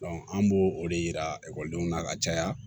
an b'o o de yira ekɔlidenw na ka caya